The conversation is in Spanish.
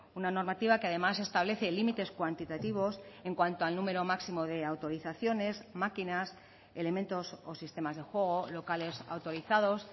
una normativa que además establece límites cuantitativos en cuanto al número máximo de autorizaciones máquinas elementos o sistemas de juego locales autorizados